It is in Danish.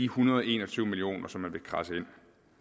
hundrede og en og tyve million kr som man vil kradse ind